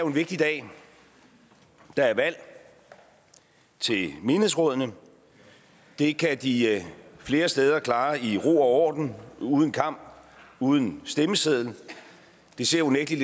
en vigtig dag der er valg til menighedsrådene og det kan de flere steder klare i ro og orden uden kamp uden stemmeseddel det ser unægtelig